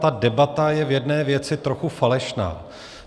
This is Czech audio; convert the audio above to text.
Ta debata je v jedné věci trochu falešná.